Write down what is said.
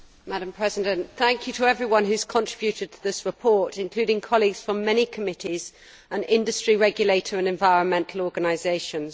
Madam President, thank you to everyone who has contributed to this report, including colleagues from many committees and industry regulator and environmental organisations.